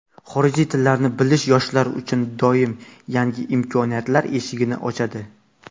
Xorijiy tillarni bilish yoshlar uchun doim yangi imkoniyatlar eshigini ochadi.